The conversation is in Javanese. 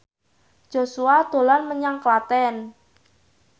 Joshua dolan menyang Klaten